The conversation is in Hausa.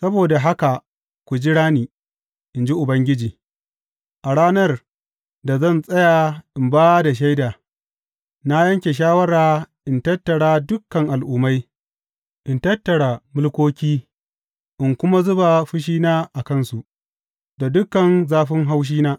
Saboda haka ku jira ni, in ji Ubangiji; a ranar da zan tsaya in ba da shaida, Na yanke shawara in tattara dukan al’ummai, in tattara mulkoki in kuma zuba fushina a kansu, da dukan zafin haushina.